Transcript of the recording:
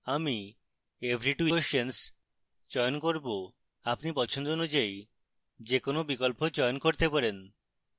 আমি every 2 questions বিকল্প চয়ন করব আপনি পছন্দ অনুযায়ী যে কোনো বিকল্প চয়ন করতে পারেন